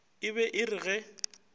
e be e re ge